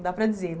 Não dá para dizer.